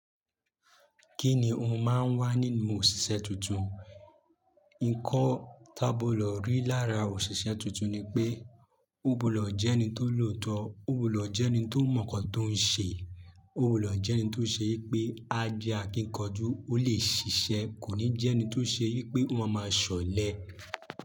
Kíní o máa ń wá nínú òṣìṣẹ́ tuntun? Ǹkọ́ tá gbọdọ̀ lò rí lára òṣìṣẹ́ tuntun ni pé, ó gbọdọ̀ jẹ́ ẹni tó lòótọ́, ó gbọdọ̀ jẹ́ ẹni tó mọ̀ nǹkan tó ń ṣe, ó gbọdọ̀ jẹ́ ẹni tó ṣe yí pé ajé akíkanjú ó lè ṣiṣẹ́, kò ní jẹ́ ẹni tó ṣe yí pé ọ máa ma ṣọ̀lẹ.